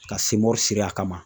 Ka siri a kama